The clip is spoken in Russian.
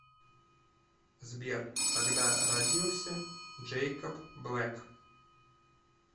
сбер когда родился джейкоб блэк